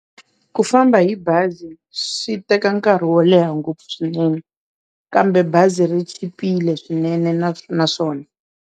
Ku famba hi bazi swi teka nkarhi wo leha ngopfu swinene kambe bazi ri chipile swinene na naswona.